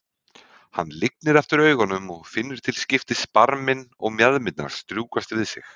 Hann lygnir aftur augunum og finnur til skiptis barminn og mjaðmirnar strjúkast við sig.